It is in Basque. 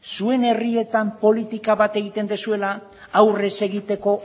zuen herrietan politika bat egiten duzuela aurre ez egiteko